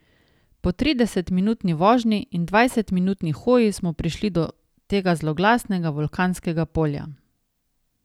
Po tridesetminutni vožnji in dvajsetminutni hoji smo prišli do tega zloglasnega vulkanskega polja.